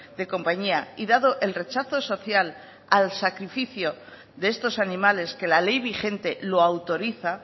de compañía y dado el rechazo social al sacrificio de estos animales que la ley vigente lo autoriza